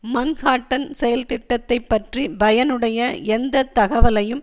Manhattan செயல்திட்டத்தைப் பற்றி பயனுடைய எந்த தகவலையும்